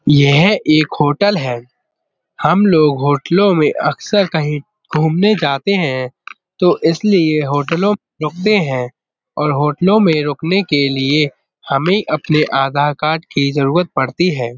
यह एक होटल है। हम लोग होटलों में अक्सर कहीं घूमने जाते हैं तो इसलिए होटलों में रुकते हैं और होटलों में रुकने के लिए हमें अपने आधार कार्ड की जरूरत पड़ती है।